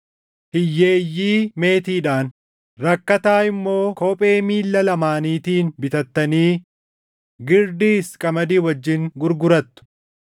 hiyyeeyyii meetiidhaan, rakkataa immoo kophee miilla lamaaniitiin bitattanii girdiis qamadii wajjin gurgurattu.